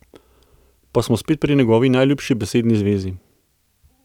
Pa smo spet pri njegovi najljubši besedni zvezi.